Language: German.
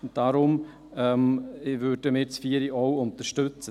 Deshalb würden wir Punkt 4 auch unterstützen.